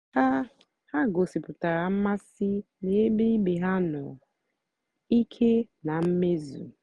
ha ha gòsíputàra mmásị́ n'ébè ìbè ha nọ̀ ìké na mmèzù.